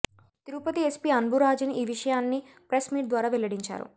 Tirupati SP Anburajan ఈ విషయాన్ని press meet ద్వారా వెల్లడించారు